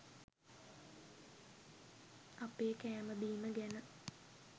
අපේ කෑම බීම ගැන